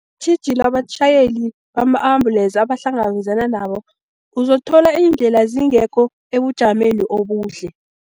Tjhijilo abatjhayeli bama-ambulesi abahlangabezana nabo, uzothola iindlela zingekho ebujameni obuhle.